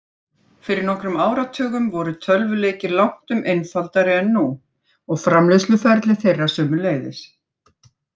Fyrir nokkrum áratugum voru tölvuleikir langtum einfaldari en nú, og framleiðsluferli þeirra sömuleiðis.